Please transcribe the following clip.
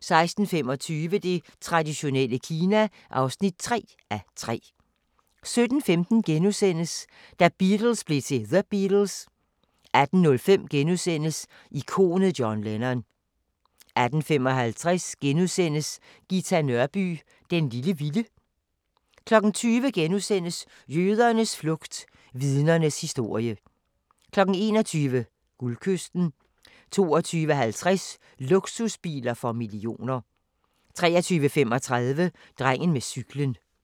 16:25: Det traditionelle Kina (3:3) 17:15: Da Beatles blev til The Beatles * 18:05: Ikonet John Lennon * 18:55: Ghita Nørby "Den lille vilde" * 20:00: Jødernes flugt – Vidnernes historie * 21:00: Guldkysten 22:50: Luksusbiler for millioner 23:35: Drengen med cyklen